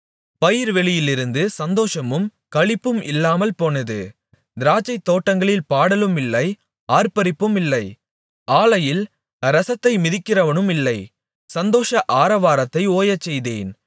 பயிர்வெளியிலிருந்து சந்தோஷமும் களிப்பும் இல்லாமல் போனது திராட்சைத்தோட்டங்களில் பாடலுமில்லை ஆர்ப்பரிப்புமில்லை ஆலையில் இரசத்தை மிதிக்கிறவனுமில்லை சந்தோஷ ஆரவாரத்தை ஓயச்செய்தேன்